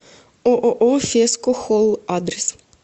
ооо феско холл адрес